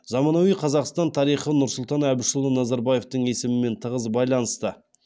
заманауи қазақстан тарихы нұрсұлтан әбішұлы назарбаевтың есімімен тығыз байланысты